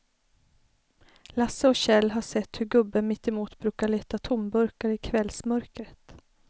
Lasse och Kjell har sett hur gubben mittemot brukar leta tomburkar i kvällsmörkret.